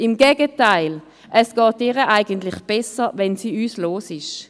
Im Gegenteil: Es ginge ihr eigentlich besser, wenn sie uns los wäre.